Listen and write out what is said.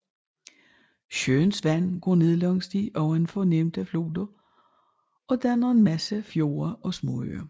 Søens vand går ned langs de ovenfor nævnte floder og danner en masse fjorde og småøer